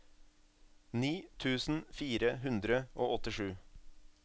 ni tusen fire hundre og åttisju